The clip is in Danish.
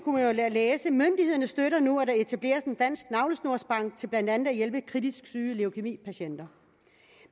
læse myndighederne støtter nu at der etableres en dansk navlesnorsbank til blandt andet at hjælpe kritisk syge leukæmipatienter